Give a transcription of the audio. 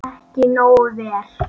Ekki nógu vel.